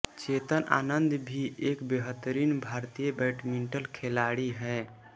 चेतन आनंद भी एक बेहतरीन भारतीय बैडमिंटन खिलाड़ी हैं